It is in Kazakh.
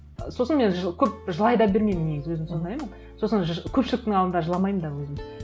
сосын мен көп жылай да бермеймін негізі өзім сондаймын сосын көпшіліктің алдында жыламаймын да өзім